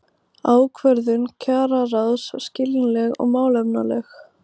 Ákvörðun kjararáðs skiljanleg og málefnaleg